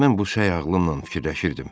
Mən bu səy ağlımnan fikirləşirdim: